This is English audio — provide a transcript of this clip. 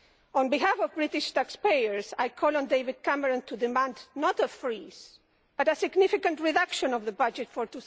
On behalf of British taxpayers, I call on David Cameron to demand not a freeze, but a significant reduction of the budget for